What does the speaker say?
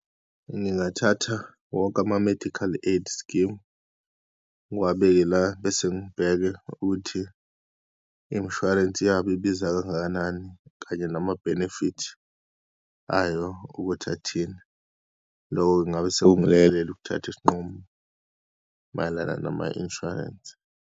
Ngingathatha wonke ama-medical aid scheme, ngiwabeke la bese ngibheke ukuthi imishwarensi yabo ibiza kangakanani kanye nama-benefit ayo ukuthi athini. Loko ingabe sekungilekelela ukuthatha isinqumo mayelana nama-insurance.